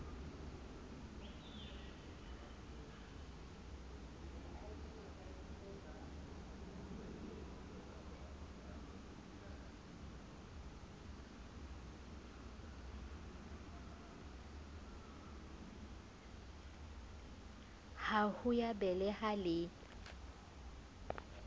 la ho ya beleha le